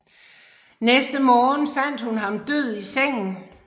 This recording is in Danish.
Næste morgen fandt hun ham død i sengen